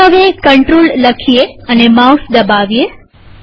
ચાલો હવે કંટ્રોલ લખીએ અને માઉસ દબાવીએ